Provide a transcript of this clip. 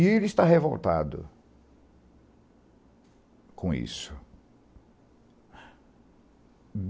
E ele está revoltado com isso.